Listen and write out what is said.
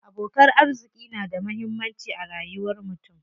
Abokan arziƙi na da muhammanci a rayuwar mutum.